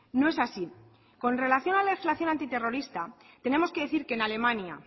no es así con relación a la legislación antiterrorista tenemos que decir que en alemania